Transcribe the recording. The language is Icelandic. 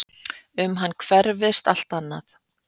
Um hann hverfist allt annað.